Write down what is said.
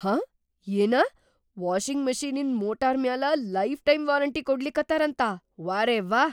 ಹಾ ಏನ?! ವಾಷಿಂಗ್‌ ಮಷೀನಿಂದ್ ಮೋಟರ್‌ ಮ್ಯಾಲ ಲೈಫ್‌ ಟೈಮ್‌ ವಾರಂಟಿ ಕೊಡ್ಲಿಕತ್ತಾರಂತಾ?! ವಾರೆವ್ಹಾ!